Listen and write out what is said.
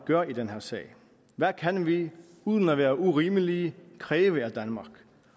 gør i den her sag hvad kan vi uden at være urimelige kræve af danmark